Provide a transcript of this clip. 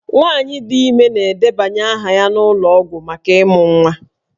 Nwaanyị dị ime na-edebanye aha ya n'ụlọ ọgwụ maka ịmụ nwa